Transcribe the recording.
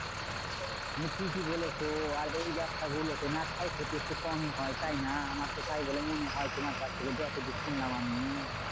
তুমি ঠিকই বলেছো। আর এই ব্যবসা গুলোতে না ক্ষয়ক্ষতি একটু কমই হয় তাইনা? আমার তো তাই বলে মনে হয়। তোমার কাছ থেকে যতদূর শুনলাম আমি।